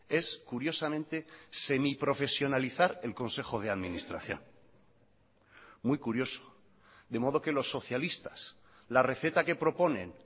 es curiosamente semiprofesionalizar el consejo de administración muy curioso de modo que los socialistas la receta que proponen